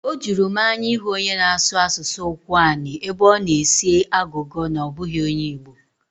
Ọ juru m anya ịhụ onye na-asụ asụsụ Ụkwụani ebe ọ na-esi agụgọ na ọ bụghị onye Igbo.